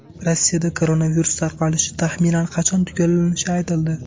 Rossiyada koronavirus tarqalishi taxminan qachon tugallanishi aytildi.